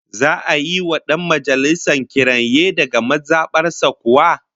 Za'a yi wa dan majalisar kiranye daga maza bar sa kuwa?